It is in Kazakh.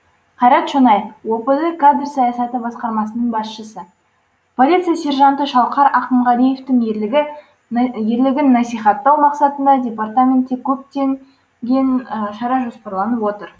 қайрат шонаев опд кадр саясаты басқармасының басшысы полиция сержанты шалқар ақымғалиевтің ерлігін насихаттау мақсатында департаментте көпте ген шара жоспарланып отыр